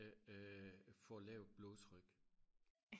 øh øh får lavt blodtryk